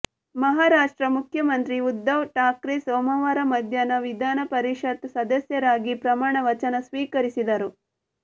ಮಹಾರಾಷ್ಟ್ರ ಮುಖ್ಯಮಂತ್ರಿ ಉದ್ದವ್ ಠಾಕ್ರೆ ಸೋಮವಾರ ಮಧ್ಯಾಹ್ನ ವಿಧಾನಪರಿಷತ್ ಸದಸ್ಯರಾಗಿ ಪ್ರಮಾಣ ವಚನ ಸ್ವೀಕರಿಸಿದರು